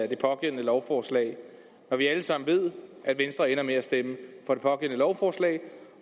det pågældende lovforslag når vi alle sammen ved at venstre ender med at stemme for det pågældende lovforslag